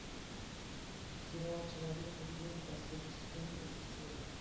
сериал человек невидимка последний сезон третья серия